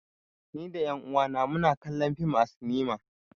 Ni da ƴan uwa na mu na kallon fim a sinima